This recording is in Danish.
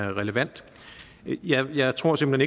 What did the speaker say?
og relevant men jeg tror simpelt